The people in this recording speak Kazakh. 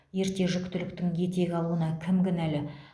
ерте жүктіліктің етек алуына кім кінәлі